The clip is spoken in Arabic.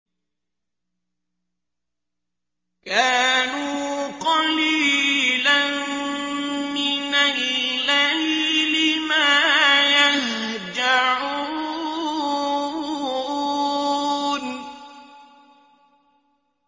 كَانُوا قَلِيلًا مِّنَ اللَّيْلِ مَا يَهْجَعُونَ